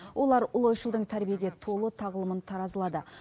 олар ұлы ойшылдың тәрбиеге толы тағылымын таразылады